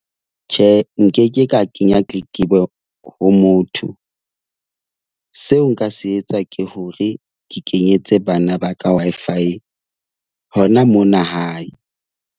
Tjhe, nke ke ka kenya tletlebo ho motho. Seo nka se etsa ke hore ke kenyetse bana ba ka Wi-Fi hona mona hae.